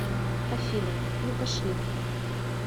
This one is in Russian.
афина ну пошли